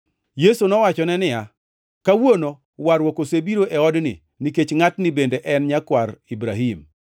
Yesu nowachone niya, “Kawuono warruok osebiro e odni, nikech ngʼatni bende en nyakwar Ibrahim.